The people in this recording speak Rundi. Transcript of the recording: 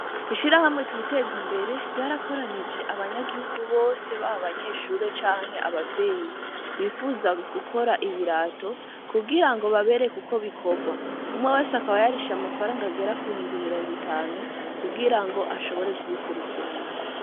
Hishira hamwe twiteze imbere ryarakoranije abanyagihugu bose ba banyeshure canke abavyeyi bifuza gukora ibirato kugira ngo babere, kuko bikorwa umwe wese akaba yarisha amafaranga agera kubihumpa imirongo itanu kugira ngo ashobore kubikurikirana.